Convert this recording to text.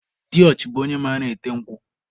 Diochi bụ onye mara ete nkwụ.